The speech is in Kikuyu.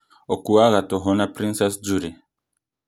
ũkuaga tũhũ na princess jully